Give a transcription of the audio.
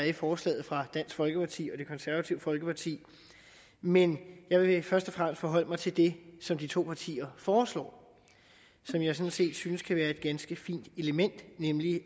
i forslaget fra dansk folkeparti og det konservative folkeparti men jeg vil først og fremmest forholde mig til det som de to partier foreslår som jeg sådan set synes kan være et ganske fint element nemlig